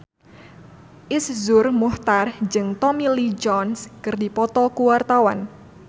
Iszur Muchtar jeung Tommy Lee Jones keur dipoto ku wartawan